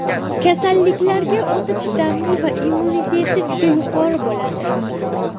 Kasalliklarga o‘ta chidamli va immuniteti juda yuqori bo‘ladi.